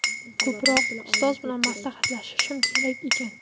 Ko‘proq ustozlar bilan maslahatlashishim kerak ekan.